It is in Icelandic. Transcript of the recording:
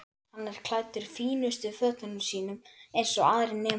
Hann er klæddur fínustu fötunum sínum eins og aðrir nemendur.